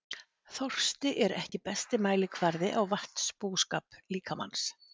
Þorsti er ekki besti mælikvarði á vatnsbúskap líkamans.